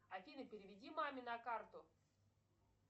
афина переведи маме на карту